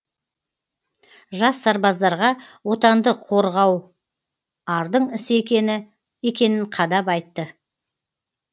жас сарбаздарға отанды қорғау ардың ісі екенін қадап айтты